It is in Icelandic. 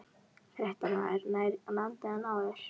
Fréttamaður: Nær landi en áður?